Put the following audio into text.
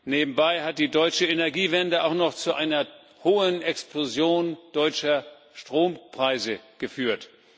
Nebenbei hat die deutsche Energiewende auch noch zu einer Explosion deutscher Strompreise geführt.